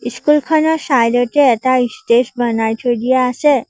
School খনৰ side তে এটা ষ্টেজ বনাই থৈ দিয়া আছে।